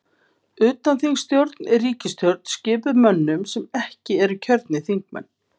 Utanþingsstjórn er ríkisstjórn skipuð mönnum sem ekki eru kjörnir þingmenn.